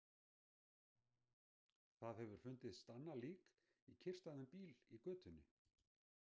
Það hefur fundist annað lík, í kyrrstæðum bíl í götunni.